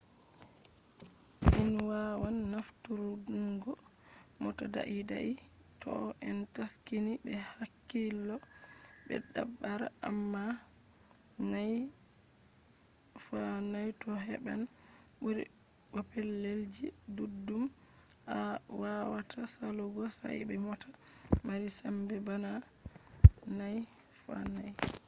in wawan nafturungo mota daidai toh en taskini be hakkilo be dabare amma 4×4 to heban buri bo pellel ji duddum awawata salugo sai be mota mari sembe bana 4×4